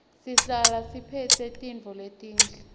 sihlale siphetse tintfo letinhle